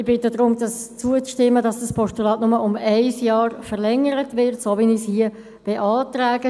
Ich bitte darum, zuzustimmen und das Postulat nur um ein Jahr zu verlängern, so wie ich es hier beantrage.